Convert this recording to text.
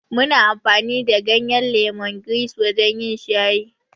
Muna amfani da ganyen lemongrass wajen yin shayi.